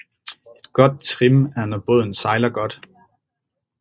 Et godt trim er når båden sejler godt